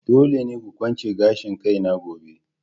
Dole ne ku kwance gashin kaina gobe!